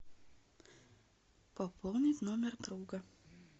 пополнить номер друга